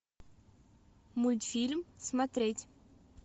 мультфильм смотреть